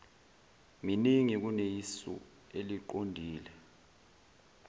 miningi kuneyisu eliqondile